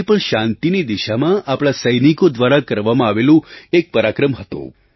તે પણ શાંતિની દિશામાં આપણા સૈનિકો દ્વારા કરવામાં આવેલું એક પરાક્રમ હતું